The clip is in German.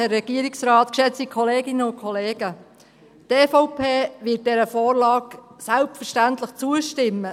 Die EVP wird dieser Vorlage selbstverständlich zustimmen.